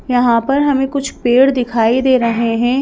यहाँ पर हमें कुछ पेड़ दिखाई दे रहे हैं।